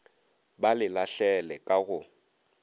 ba le lahlele ka go